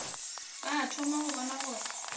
ba thoma go bona gore